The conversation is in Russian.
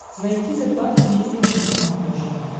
найти т двадцать четыре на смотрешке